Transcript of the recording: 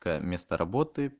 место работы